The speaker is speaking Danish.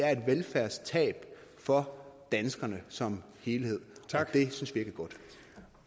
er et velfærdstab for danskerne som helhed